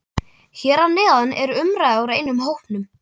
Hér að neðan er umræða úr einum hópnum